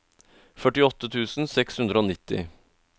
førtiåtte tusen seks hundre og nitti